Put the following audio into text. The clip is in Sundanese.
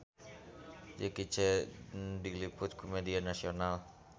Jackie Chan diliput ku media nasional